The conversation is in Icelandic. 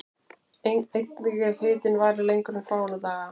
Einnig ef hitinn varir lengur en fáeina daga.